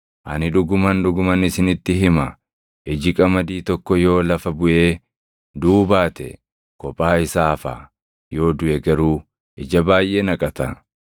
Ani dhuguman, dhuguman isinitti hima; iji qamadii tokko yoo lafa buʼee duʼuu baate kophaa isaa hafa. Yoo duʼe garuu ija baayʼee naqata.